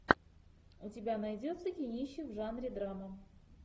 у тебя найдется кинище в жанре драма